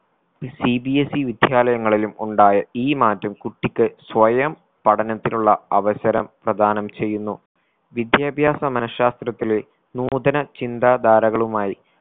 E CBSE വിദ്യാലയങ്ങളിലും ഉണ്ടായ ഈ മാറ്റം കുട്ടിക്ക് സ്വയം പഠനത്തിനുള്ള അവസരം പ്രധാനം ചെയ്യുന്നു. വിദ്യാഭ്യാസ മനഃശാസ്ത്രത്തിലെ നൂതന ചിന്താ ധാരകളുമായി